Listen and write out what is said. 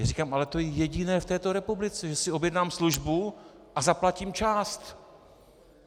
Já říkám, ale to je jediné v této republice, že si objednám službu a zaplatím část.